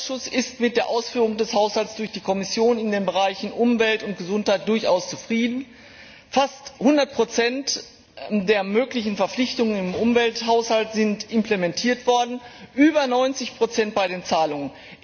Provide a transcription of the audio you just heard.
Der Umweltausschuss ist mit der Ausführung des Haushalts durch die Kommission in den Bereichen Umwelt und Gesundheit durchaus zufrieden. Fast 100 der möglichen Verpflichtungen im Umwelthaushalt sind implementiert worden, über 90 bei den Zahlungen.